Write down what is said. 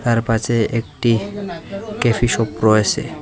তারপাশে একটি coffee shop রয়েসে।